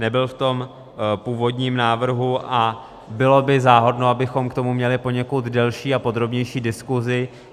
Nebyl v tom původním návrhu a bylo by záhodno, abychom k tomu měli poněkud delší a podrobnější diskusi.